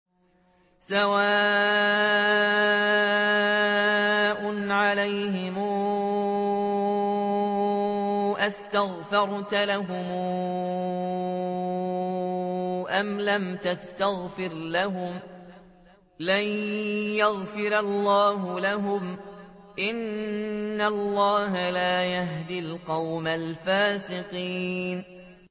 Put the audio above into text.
سَوَاءٌ عَلَيْهِمْ أَسْتَغْفَرْتَ لَهُمْ أَمْ لَمْ تَسْتَغْفِرْ لَهُمْ لَن يَغْفِرَ اللَّهُ لَهُمْ ۚ إِنَّ اللَّهَ لَا يَهْدِي الْقَوْمَ الْفَاسِقِينَ